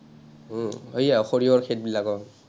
উম সেইয়া সৰিয়হৰ খেত বিলাক অ।